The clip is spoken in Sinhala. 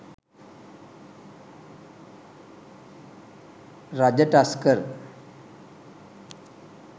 raja tusker